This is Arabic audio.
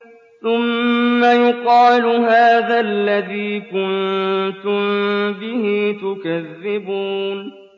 ثُمَّ يُقَالُ هَٰذَا الَّذِي كُنتُم بِهِ تُكَذِّبُونَ